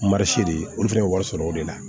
Marisi de olu fana bɛ wari sɔrɔ o de la